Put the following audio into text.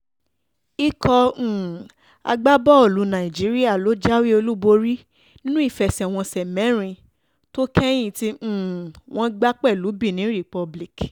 ikọ̀ um agbábọ́ọ̀lù nàìjíríà ló jáwé olúborí nínú ìfẹsẹ̀wọnsẹ̀ mẹ́rin tó kẹ́yìn tí um wọ́n gbá pẹ̀lú benin republic